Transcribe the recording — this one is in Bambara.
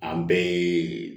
An bɛɛ ye